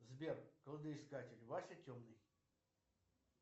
сбер кладоискатель вася темный